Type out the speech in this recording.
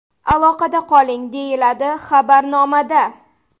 Aloqada qoling!” deyiladi xabarnomada.